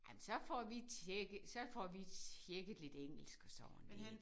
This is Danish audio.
Ej men så får vi tjekket så får vi tjekket lidt engelsk og sådan lidt